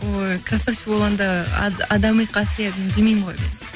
ой красавчик болғанда адами қасиетін білмеймін ғой